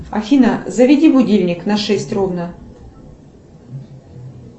афина заведи будильник на шесть ровно